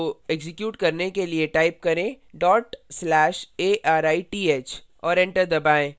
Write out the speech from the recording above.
code को execute करने के लिए type करें/arith और enter दबाएँ